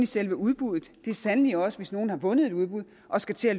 selve udbuddet det gælder sandelig også hvis nogen har vundet et udbud og skal til at